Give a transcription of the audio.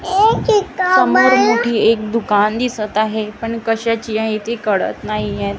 समोर मोठे एक दुकान दिसत आहे पण कशाची आहे ते कळत नाहीये.